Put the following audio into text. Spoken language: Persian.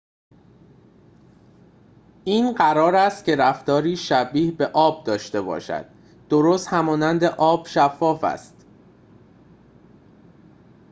این قرار است که رفتاری شبیه به آب داشته باشد درست همانند آب شفاف است